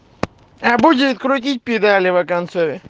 а будет крутить педали во конце